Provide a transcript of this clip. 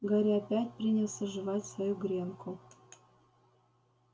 гарри опять принялся жевать свою гренку